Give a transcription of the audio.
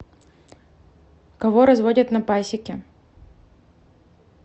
кого разводят на пасеке